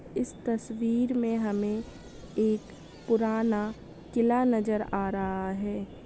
इस तस्वीर में हमें एक पुराना किला नज़र आ रहा है किला किले के आस पास बहुत सारे पेड़ भी लगाए गए है किले के पीछे बड़े बड़े पहाड़ भी हमें देखने को मिल रहे हैं।